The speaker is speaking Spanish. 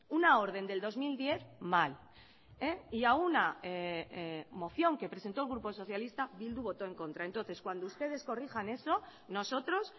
una orden del dos mil diez mal y a una moción que presentó el grupo socialista bildu votó en contra entonces cuando ustedes corrijan eso nosotros